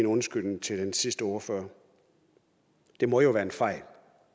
en undskyldning til den sidste ordfører det må jo være en fejl